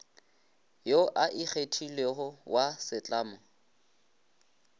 yo a kgethilwego wa setlamo